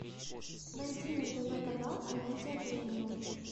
найди на тв канал амедиа премиум